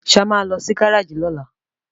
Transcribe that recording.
ṣe a má ló sì Gáréèjì lola?